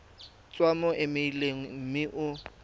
tswa mo emeileng mme o